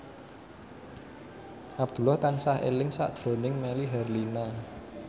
Abdullah tansah eling sakjroning Melly Herlina